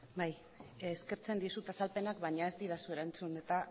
bai eskertzen dizut azalpenak baina ez didazu erantzun eta